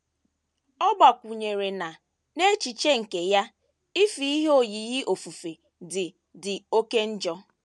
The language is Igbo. Ọ gbakwụnyere na, n’echiche nke ya, ife ihe oyiyi ofufe dị dị oké njọ.